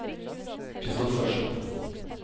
Christophersen